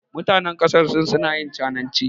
Mutanen ƙasar Sin suna yin cananci.